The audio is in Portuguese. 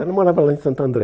Ela morava lá em Santo André.